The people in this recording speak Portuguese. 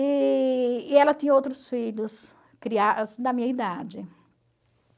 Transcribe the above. E e ela tinha outros filhos da minha idade.